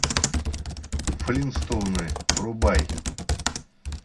флинтстоуны врубай